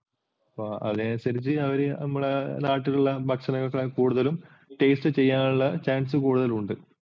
അപ്പോൾ അതിനനുസരിച്ചു അവർ നമ്മുടെ നാട്ടിലുള്ള ഭക്ഷണത്തേക്കാൾ കൂടുതലും taste ചെയ്യാനുള്ള chance കൂടുതലുണ്ട്.